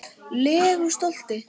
legu stolti.